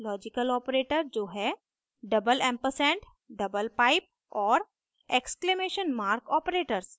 logical operator जो हैं double ampersand double pipe और exclamation mark operators